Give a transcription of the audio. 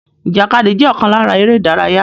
Ìjàkadì jẹ́ ọ̀kan lára eré ìdárayá